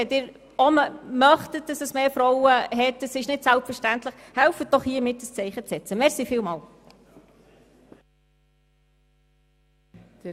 Wenn Sie auch möchten, dass es mehr Frauen hat, helfen Sie doch bitte mit, hier ein Zeichen zu setzen, denn es ist nicht selbstverständlich.